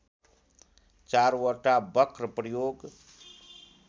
चारवटा वक्र प्रयोग